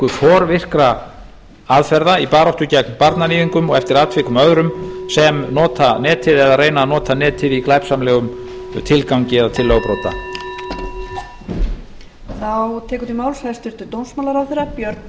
forvirkra aðferða í baráttu gegn barnaníðingum og eftir atvikum öðrum sem nota netið eða reyna að nota netið í glæpsamlegum tilgangi eða til lögbrota lilja klárar sjs